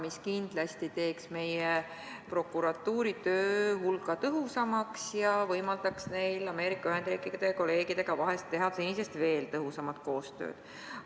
See kindlasti teeks meie prokuratuuri töö hulga tõhusamaks ja võimaldaks neil Ameerika Ühendriikide kolleegidega vahest senisest veel tõhusamat koostööd teha.